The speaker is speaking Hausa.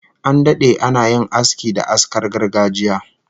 An dade ana yin aski da askar gargajiya